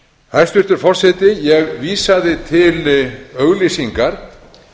hæstvirtur forseti ég vísaði til auglýsingar